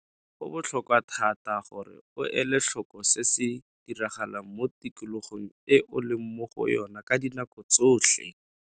Go botlhokwa thata gore o ele tlhoko se se diragalang mo tikologong e o leng mo go yona ka dinako tsotlhe.